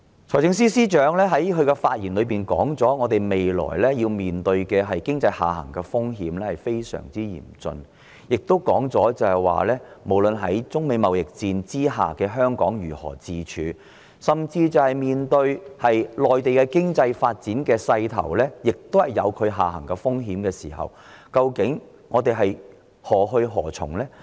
財政司司長在發言時指出，香港未來面對的經濟下行風險非常嚴峻，也提及在中美貿易戰下，香港應該如何自處，甚至是在內地的經濟發展勢頭也有下行風險的時候，究竟香港應該何去何從？